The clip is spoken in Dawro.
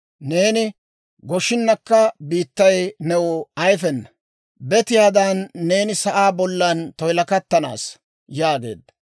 Neeni goshinakka biittay new ayfena; betiyaadan neeni sa'aa bollan toyilakattanaassa» yaageedda.